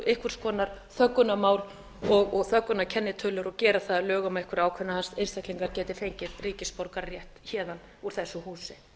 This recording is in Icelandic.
einhvers konar þöggunarmál og þöggunarkennitölur og gera það að lögum að einhverjir ákveðnir einstaklingar geti fengið ríkisborgararétt héðan úr þessu húsi